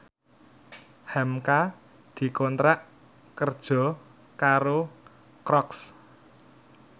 hamka dikontrak kerja karo Crocs